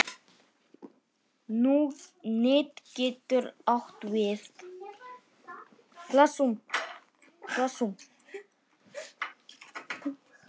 Net getur átt við